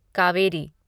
Kaveri